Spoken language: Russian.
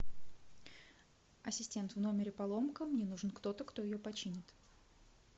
ассистент в номере поломка мне нужен кто то кто ее починит